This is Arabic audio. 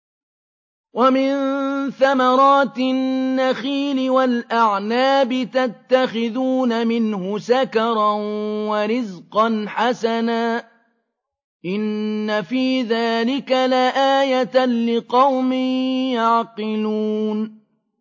وَمِن ثَمَرَاتِ النَّخِيلِ وَالْأَعْنَابِ تَتَّخِذُونَ مِنْهُ سَكَرًا وَرِزْقًا حَسَنًا ۗ إِنَّ فِي ذَٰلِكَ لَآيَةً لِّقَوْمٍ يَعْقِلُونَ